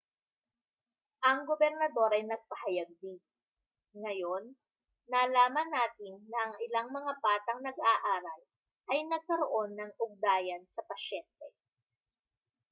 ang gobernador ay nagpahayag din ngayon nalaman natin na ang ilang mga batang nag-aaral ay nagkaroon ng ugnayan sa pasyente